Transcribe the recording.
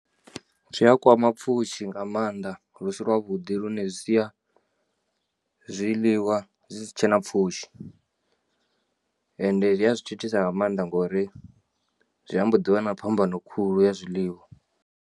Zwi a kwama pfhushi nga maanda ḽu si lwavhuḓi lune zwi sia zwiḽiwa zwi si tshena pfhushi ende zwi a zwi tshi thusa nga maanḓa ngori zwi ambo ḓi vha na phambano khulu ya zwiḽiwa.